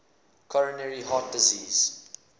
coronary heart disease